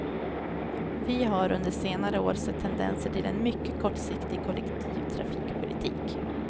Vi har under senare år sett tendenser till en mycket kortsiktig kollektivtrafikpolitik.